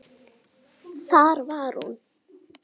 Þar var hún.